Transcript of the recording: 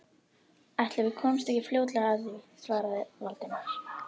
Ætli við komumst ekki fljótlega að því- svaraði Valdimar.